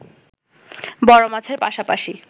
বড় মাছের পাশাপাশি